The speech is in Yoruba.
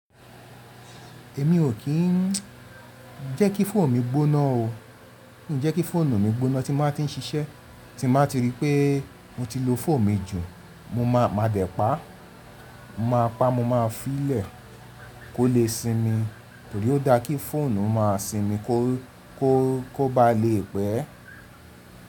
Èmi ò kí n jẹ́ kí fóònù mi gbóná o. Ǹjẹ́ kí fóònù mi gbóná tí máa tí ń ṣiṣẹ́ tí máa ti rí pé mo ti lo fóònù mi jù, mo má a máa dẹ̀ pa á. Mo má a pa á mo má a fí í lẹ̀ kó lè sinmi torí ó dá kí fóònù máa sinmi kó kó kó bá lè pẹ́.